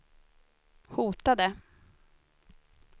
hotade